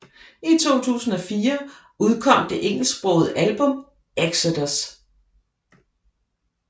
I 2004 udkom det engelsksprogede album Exodus